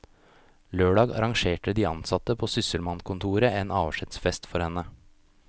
Lørdag arrangerte de ansatte på sysselmannkontoret avskjedsfest for henne.